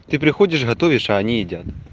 ты приходишь готовишь а они едят